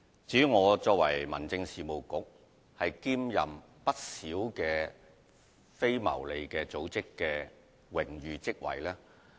至於我作為民政事務局局長，會兼任不少非牟利組織的榮譽職位。